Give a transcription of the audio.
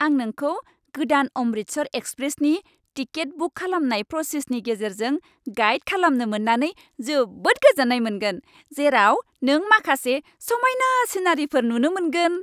आं नोंखौ गोदान 'अमृतसर एक्सप्रेस'नि टिकेट बुक खालामनाय प्रसेसनि गेजेरजों गाइड खालामनो जोबोद गोजोन्नाय मोनगोन, जेराव नों माखासे समायना सिनारिफोर नुनो मोनगोन।